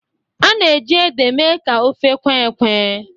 A na-eji ede mee ka ofe kwee ekwẹ́.